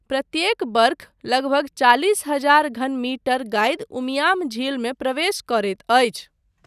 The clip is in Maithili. प्रत्येक वर्ष लगभग चालिस हजार घन मीटर गादि उमियाम झीलमे प्रवेश करैत अछि।